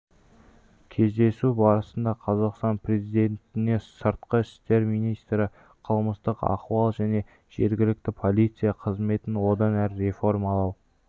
кездесу барысында қазақстан президентіне сыртқы істер министрі қылмыстық ахуал және жергілікті полиция қызметін одан әрі реформалау